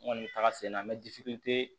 N kɔni bɛ taga sen na mɛ